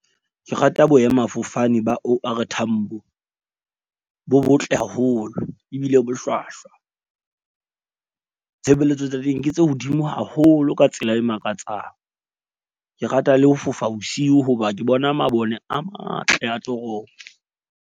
Ke rata boemafofane ba O_R Tambo bo botle haholo ebile bo hlwahlwa. Tshebeletso tsa teng ke tse hodimo haholo ka tsela e makatsang. Ke rata le ho fofa bosiu hoba ke bona mabone a matle a tlo .